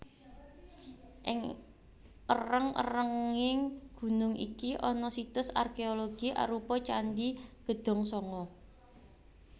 Ing èrèng èrènging gunung iki ana situs arkeologi arupa Candhi Gedhongsanga